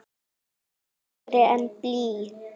Þyngri en blý.